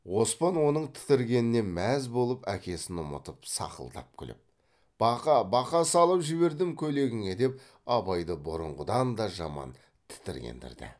оспан оның тітіргеніне мәз болып әкесін ұмытып сақылдап күліп бақа бақа салып жібердім көйлегіңе деп абайды бұрынғыдан да жаман тітіргендірді